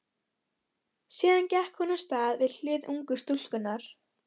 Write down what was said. Síðan gekk hún af stað við hlið ungu stúlkunnar.